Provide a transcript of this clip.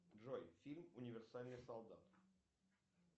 джой фильм универсальный солдат